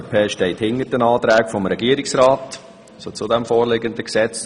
Die FDP steht hinter den Anträgen des Regierungsrats zu dem vorliegenden Gesetz.